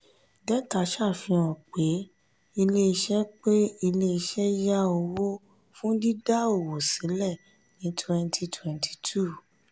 détà ṣàfihàn pé ilé iṣẹ́ pé ilé iṣẹ́ yá owó fún dídá òwò sílẹ̀ ní twenty twenty two